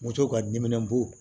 Moto ka diminɛn bu